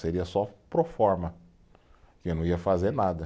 Seria só forma, porque eu não ia fazer nada.